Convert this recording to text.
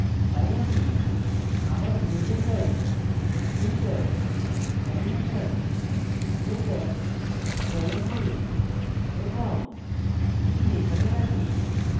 তাই আমি আমার image যাই filter animation playback চয়ন করি এবং এটি এখানে দেখি